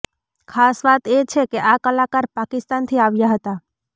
ખાસ વાત એ છે કે આ કલાકાર પાકિસ્તાનથી આવ્યા હતા